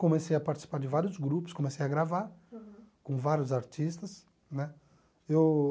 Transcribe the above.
Comecei a participar de vários grupos, comecei a gravar com vários artistas né eu...